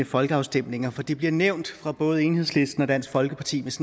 folkeafstemninger for det bliver nævnt fra både enhedslistens og dansk folkepartis